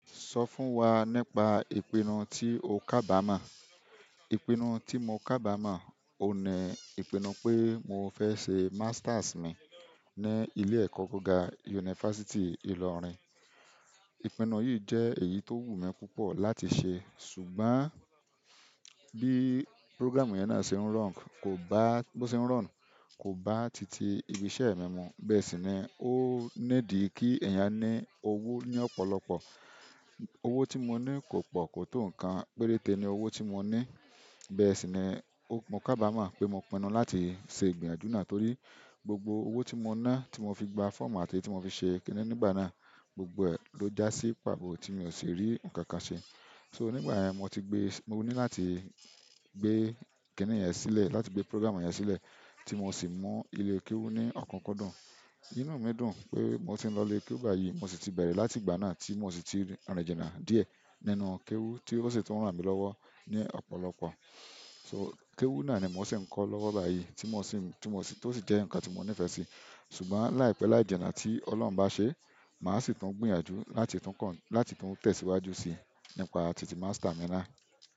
Sọ fún wa nípa ìpinnu tí o kábàámo. Ìpinnu tí mo kábàámo, òun ní ìpinnu pé mo fẹ́ ṣe masters mi ní ilé-ẹ̀kọ́ gíga University Ilorin. Ìpinnu yìí jẹ́ èyí tó wù mí púpọ̀ láti ṣe ṣùgbọ́n bí program yẹn náà se n run, ko ba ṣe ń run, kò bá ti tì íbiṣẹ́ mi mu, bẹ́ẹ̀ sì ni ó need kí eeyàn ní owó ní ọ̀pọ̀lọpọ̀. Owó tí mo ní kò pọ̀, kò tó nǹkan, péréte ni owó tí mo ní. Bẹ́ẹ̀ sì ni o mo kábàámà pé mo pinnu láti ṣe ìgbìyànjú náà torí gbogbo owó tí mo ná, tí mo fi gba fọ́ọ̀mù àti tí mo fi ṣe kíní nígbà náà, gbogbo ẹ̀ ló já sí pàbọ́ tí mi ò sì rí nǹkan kan ṣe. So nígbà yẹn mo ti gbé, mo ní láti gbé kíní yẹn sílẹ̀, láti gbé program won yẹn sílẹ̀ tí mo sì mu ilé kéwú ní ọ̀kunkundun. Inú mi dùn pé mo ti ń lọlé kéwú báyìí, mo sì ti bẹ̀rẹ̀ láti ìgbà náà tí mo sì ti rìn rìn jìnà díẹ̀ nínú kéwú tí ó sì tun rán mi lọ́wọ́ ní ọ̀pọ̀lọpọ̀. So kéwú náà ni mo sì ń kọ́ lọ́wọ́ báyìí tí mo sì ń, tí mo sì, tó sì jẹ́ nǹkan tí mo nífẹ̀ẹ́ sí. Ṣùgbọ́n láìpẹ́ láìjìnà tí Ọlọ́hun bá ṣe e, màá sì tún gbìyànjú láti tún kọ́, láti tún tẹ̀síwájú síi nípa títì master mi náà.